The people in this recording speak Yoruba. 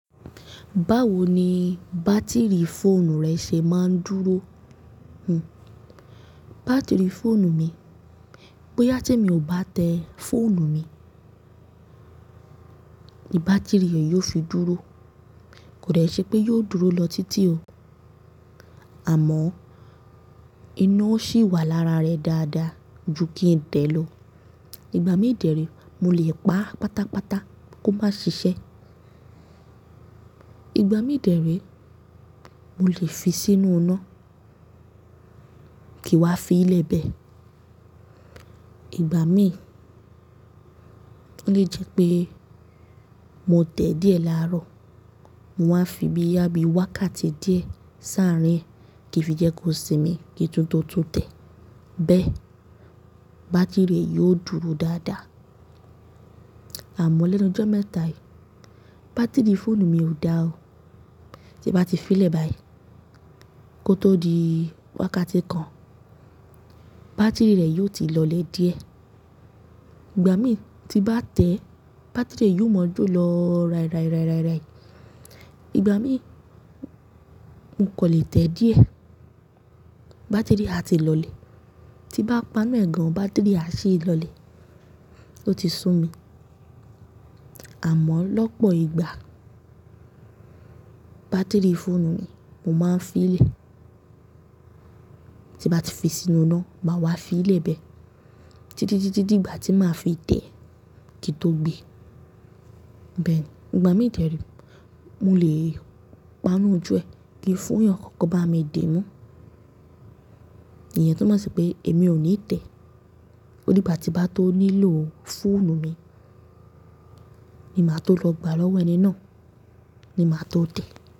Báwo ni bátìrì fóònù rẹ ṣe máa ń dúró? Hn, bátìrì fóònù mi, bóyá tí mi ò bá tẹ fóònù mi, ní bátìrì re yoo fi dúró. Kò de ṣe pé yóò dúró lọ títí o. Àmọ́, iná ò ṣì wà lára rẹ̀ dáadáa ju kí n tẹ̀ lọ. Ìgbà mí dẹ̀re, mo lè pa á pátápátá kó máa ṣiṣẹ́. Ìgbà mí dẹ̀re, mo lè fi sínú iná kí wá fi í lẹ́bẹ̀. Ìgbà mí, ó lè jẹ́ pé mo tẹ̀ díẹ̀ láàárọ̀, mo waa fi bí ya bí wákàtí díẹ̀ sáàrín e kí fi jẹ́ kó sinmi kí tunto tún tẹ̀. Bẹ́ẹ̀, bátìrì yóò dúró dáadáa. Àmọ́ lẹ́nu ijo mẹ́ta yìí, bátìrì fóònù mi ò dá o. Tí bá ti fi lẹ́bẹ̀ aí, kó tó di wákàtí kan, bátìrì rẹ̀ yóò ti lọlẹ̀ díẹ̀. Ìgbà mí tí bá tẹ̀, bátìrì yóò mọ́ jo lọ ráírái, ráírái, ráírái. Ìgbà mí, mo kò lè tẹ̀ díẹ̀, bátìrì a ti lọlẹ̀. Tí bá pana e gan, bátìrì a ṣí lọlẹ̀, ó ti sú mi. Àmọ́ lọ́pọ̀ ìgbà, bátìrì fóònù mi, mo máa ń fi lè. Tí bá ti fi sínú iná, máa wá fi í lẹ́bẹ̀ títí, títí, títí dìgbà tí màá fi tẹ̀ kí tó gbé. Bẹ́ẹ̀ ni, ìgbà mí dẹ̀re, mo lè pana ojú ẹ ki fún yan kó bá mi di mú. Ìyẹn tó máa ṣe pé èmi ò ní tẹ̀. Ó di gba ti bá ti bá tó nílò fóònù mi ni màá tó lọ gbà lọ́wọ́ ẹni náà, ni màá tó tẹ̀.